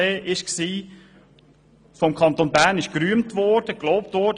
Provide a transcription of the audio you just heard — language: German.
Vom Kanton Bern wurde sie gerühmt und mitgetragen.